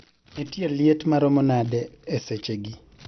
Nitie liet maromo nade esechegi